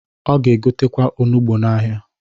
Ọ ga-egotekwa onugbo n'ahịa.